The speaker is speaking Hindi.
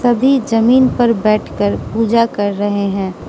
सभी जमीन पर बैठकर पूजा कर रहे है।